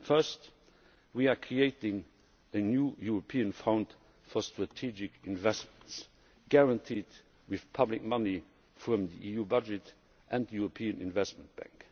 First, we are creating a new European Fund for Strategic Investments, guaranteed with public money from the EU budget and the European Investment Bank.